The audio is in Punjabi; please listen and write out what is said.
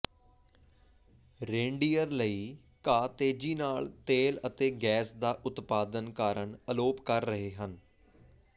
ਰੇਨਡੀਅਰ ਲਈ ਘਾਹ ਤੇਜ਼ੀ ਨਾਲ ਤੇਲ ਅਤੇ ਗੈਸ ਦਾ ਉਤਪਾਦਨ ਕਾਰਨ ਅਲੋਪ ਕਰ ਰਹੇ ਹਨ